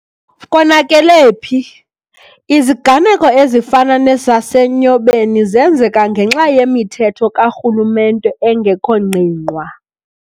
KONAKELE PHI?.Iziganeko ezifana nesase Nyobeni zenzeka ngenxa yemithetho ka rhulumente engekho ngqingqwa.